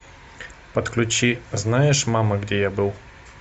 подключи знаешь мама где я был